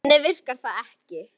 Þannig virkar það ekki.